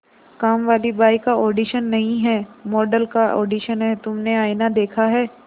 कामवाली बाई का ऑडिशन नहीं है मॉडल का ऑडिशन है तुमने आईना देखा है